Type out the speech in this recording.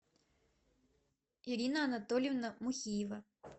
ирина анатольевна мухиева